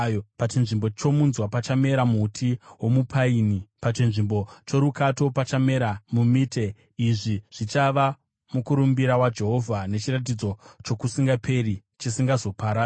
Pachinzvimbo chomunzwa pachamera muti womupaini, pachinzvimbo chorukato pachamera mumite. Izvi zvichava mukurumbira waJehovha, nechiratidzo chokusingaperi, chisingazoparadzwi.”